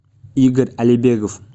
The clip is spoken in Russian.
игорь алибегов